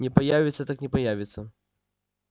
не появится так не появится